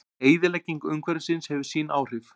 Eyðilegging umhverfisins hefur sín áhrif.